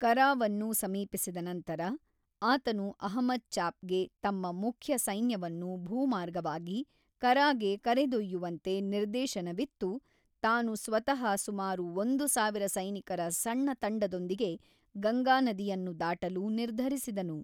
ಕರಾವನ್ನು ಸಮೀಪಿಸಿದ ನಂತರ, ಆತನು ಅಹಮದ್ ಚಾಪ್‌ಗೆ ತಮ್ಮ ಮುಖ್ಯ ಸೈನ್ಯವನ್ನು ಭೂ ಮಾರ್ಗವಾಗಿ ಕರಾಗೆ ಕರೆದೊಯ್ಯುವಂತೆ ನಿರ್ದೇಶನವಿತ್ತು, ತಾನು ಸ್ವತಃ ಸುಮಾರು ಒಂದು ಸಾವಿರ ಸೈನಿಕರ ಸಣ್ಣ ತಂಡದೊಂದಿಗೆ ಗಂಗಾ ನದಿಯನ್ನು ದಾಟಲು ನಿರ್ಧರಿಸಿದನು.